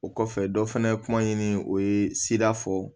O kɔfɛ dɔ fana ye kuma ɲini o ye sira fɔ